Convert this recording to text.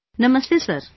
Namaste Sir